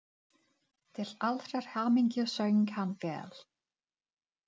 Til allrar hamingju söng hann vel!